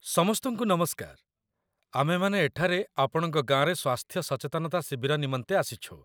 ସମସ୍ତଙ୍କୁ ନମସ୍କାର, ଆମ୍ଭେମାନେ ଏଠାରେ ଆପଣଙ୍କ ଗାଁରେ ସ୍ୱାସ୍ଥ୍ୟ ସଚେତନତା ଶିବିର ନିମନ୍ତେ ଆସିଛୁ